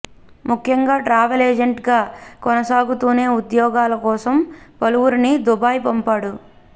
ముఖ్యంగా ట్రావెల్ ఎజెంట్గా కొనసాగతూనే ఉద్యోగాల కోసం పలువురిని దుబాయ్ పంపాడు